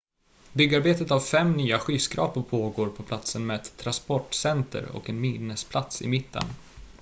byggarbetet av fem nya skyskrapor pågår på platsen med ett transportcenter och en minnesplats i mitten